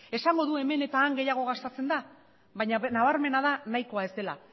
esango du hemen eta han gehiago gastatzen dela baina nabarmena da nahikoa ez dela